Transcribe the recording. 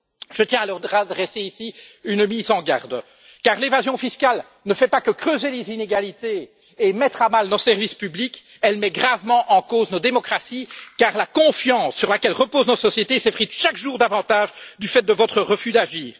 Je tiens à leur adresser ici une mise en garde, car l'évasion fiscale ne fait pas que creuser les inégalités et mettre à mal nos services publics, elle met gravement en cause nos démocraties, car la confiance sur laquelle repose notre société s'effrite chaque jour davantage, du fait de votre refus d'agir.